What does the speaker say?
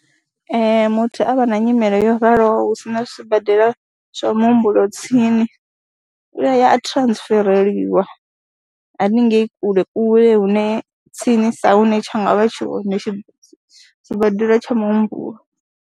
Ee muthu a vha na nyimele yo raloho hu si na sibadela zwa muhumbulo tsini u a ya a transfereliwa haningei kule kule hune tsinisa hune tsha nga vha tshi hone sibadela tsha muhumbulo.